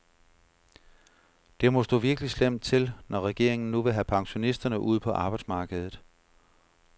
Det må stå virkelig slemt til, når regeringen nu vil have pensionisterne ud på arbejdsmarkedet.